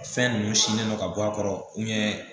Fɛn ninnu sinnen don ka bɔ a kɔrɔ